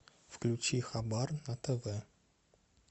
включи хабар на тв